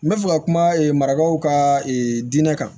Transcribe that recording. N bɛ fɛ ka kuma ee marakaw ka diinɛ kan